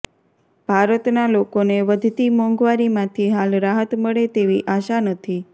ભારતના લોકોને વધતી મોંઘવારીમાંથી હાલ રાહત મળે તેવી આશા નથી